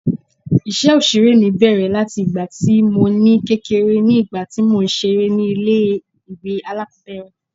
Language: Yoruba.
Ìṣe Òṣèré mi bẹ̀rẹ̀ láti ìgbà tí mo ní kékeré ní ìgbà tí mò ń ṣeré ni ilé ìwé alákòbẹ̀rẹ̀.